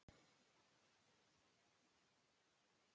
Við höfum ekki talað neitt saman.